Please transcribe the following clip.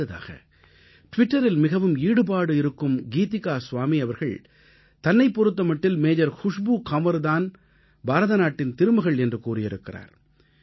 அடுத்ததாக ட்விட்டரில் மிகவும் ஈடுபாட்டோடு இருக்கும் கீதிகா ஸ்வாமி அவர்கள் தன்னைப் பொறுத்த மட்டில் மேஜர் குஷ்பூ கன்வர் தான் பாரத நாட்டின் திருமகள் என்று கூறியிருக்கிறார்